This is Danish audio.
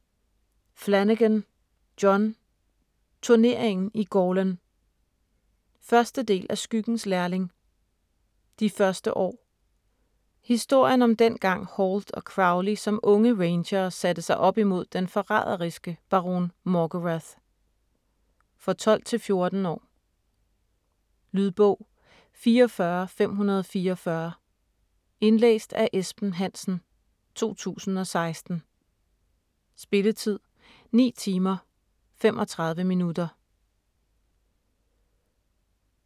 Flanagan, John: Turneringen i Gorlan 1. del af Skyggens lærling: De første år. Historien om dengang Halt og Crowley som unge Rangere satte sig op imod den forræderiske baron Morgarath. For 12-14 år. Lydbog 44544 Indlæst af Esben Hansen, 2016. Spilletid: 9 timer, 35 minutter.